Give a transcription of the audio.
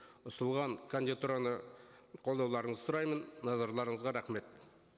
ұсынылған кандидатураны қолдауларыңызды сұраймын назарларыңызға рахмет